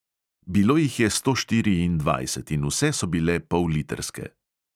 Bilo jih je sto štiriindvajset in vse so bile pollitrske.